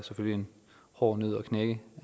en hård nød at knække